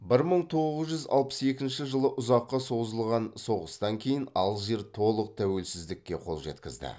бір мың тоғыз жүз алпыс екінші жылы ұзаққа созылған соғыстан кейін алжир толық тәуелсіздікке қол жеткізді